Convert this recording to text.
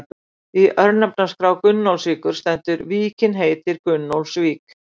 Í örnefnaskrá Gunnólfsvíkur stendur: Víkin heitir Gunnólfsvík.